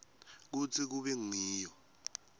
kutsi kube ngiyo